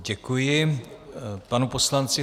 Děkuji panu poslanci.